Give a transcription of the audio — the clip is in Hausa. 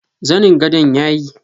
zanin gadon yayi.